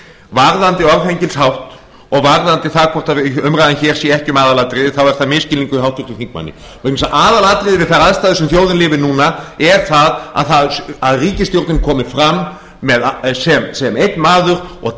varðandi orðhengilshátt og varðandi það hvort umræðan hér sé ekki um aðalatriði þá er það misskilningur hjá háttvirtum þingmanni vegna þess að aðalatriði við þær aðstæður sem þjóðin lifir við núna er það að ríkisstjórnin komi fram sem einn maður og